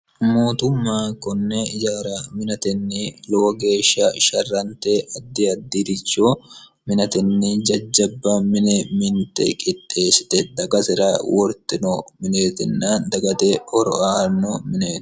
mootumma konne ijaara minatenni lowo geeshsha sharrante addi addiricho minatenni jajjabba mine minte qixxeeshsite dagasira wortino mineetinna dagate horo aanno mineeti